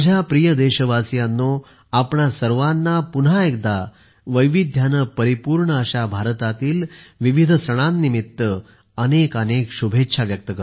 माझ्या प्रिय देशवासियांनो आपणा सर्वांना पुन्हा एकदा वैविध्याने परिपूर्ण अशा भारतातील विविध सणांनिमित्त अनेकानेक शुभेच्छा